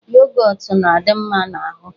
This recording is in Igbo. Yogọt na-adị mma n'ahụ.